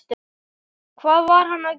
Hvað var hann að gera?